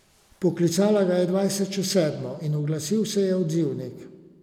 Poklicala ga je dvajset čez sedmo in oglasil se je odzivnik.